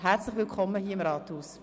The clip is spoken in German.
Herzlich willkommen im Rathaus!